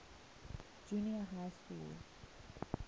junior high schools